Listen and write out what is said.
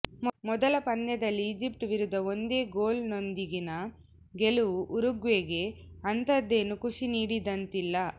ಮೊದಲ ಪಂದ್ಯದಲ್ಲಿ ಈಜಿಪ್ಟ್ ವಿರುದ್ಧ ಒಂದೇ ಗೋಲ್ ನೊಂದಿಗಿನ ಗೆಲುವು ಉರುಗ್ವೆಗೆ ಅಂಥದ್ದೇನೂ ಖುಷಿ ನೀಡಿದಂತಿಲ್ಲ